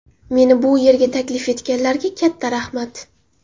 Meni bu yerga taklif etganlarga katta rahmat.